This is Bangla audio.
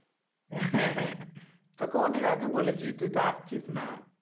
তোকে অনেক আগে বলেছি তুই তো আসছিস না.